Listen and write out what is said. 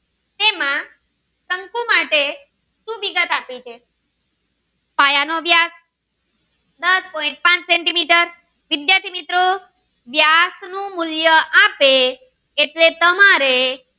તેમાં શંકુ માટે શું વિગત આપી છે પાયા નો વ્યાસ દસ પોઈન્ટ પાંચ સેન્ટીમીટર વિદ્યાર્થી મિત્રો વ્યાસ નું મૂલ્ય આપે એટલે તમારે